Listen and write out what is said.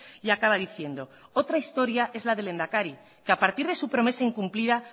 y acaba diciendo otra historia es la del lehendakari que a partir de su promesa incumplida